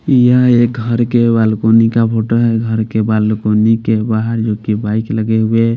यह घर के बालकोनी का फोटो है घर के बालकोनी के बाहर जोकि बाइक लगे हुए--